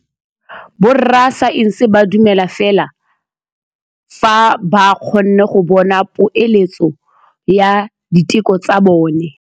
Borra saense ba dumela fela fa ba kgonne go bona poeletsô ya diteko tsa bone.